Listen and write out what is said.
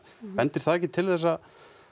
bendir það ekki til þess að